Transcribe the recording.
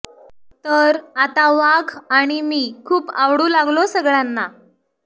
तर आता वाघ आणि मी खूप आवडू लागलो सगळ्यांना